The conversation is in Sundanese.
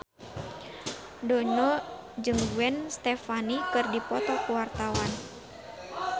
Dono jeung Gwen Stefani keur dipoto ku wartawan